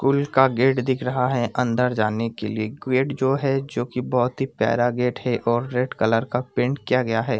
कुल का गेट दिख रहा है अंदर जाने के लिए गेट जो है जो की बहोत ही प्यारा गेट है और रेड कलर का पेंट किया गया है।